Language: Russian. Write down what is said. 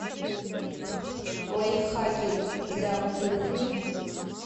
лайфхаки для кухни